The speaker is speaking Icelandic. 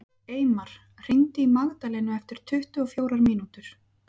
Eymar, hringdu í Magdalenu eftir tuttugu og fjórar mínútur.